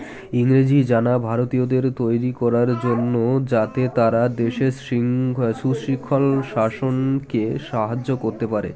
ইংরেজি জানা ভারতীয়দের তৈরি করার জন্য যাতে তারা দেশের সিংঘ সুশিখন শাসনকে সাহায্য করতে পারে